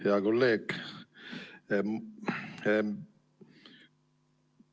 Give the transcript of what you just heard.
Hea kolleeg!